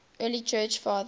early church fathers